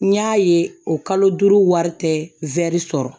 N y'a ye o kalo duuru wari tɛ sɔrɔ